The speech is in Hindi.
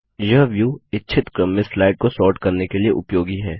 यह व्यू इच्छित क्रम में स्लाइड को सॉर्ट करने के लिए उपयोगी है